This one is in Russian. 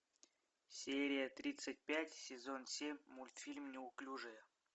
серия тридцать пять сезон семь мультфильм неуклюжая